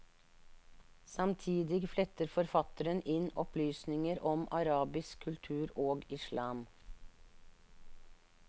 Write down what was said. Samtidig fletter forfatteren inn opplysninger om arabisk kultur og islam.